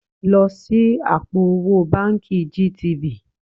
Lọ ṣí àpò owó báǹkì GTB